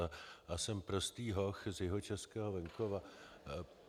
A jsem prostý hoch z jihočeského venkova.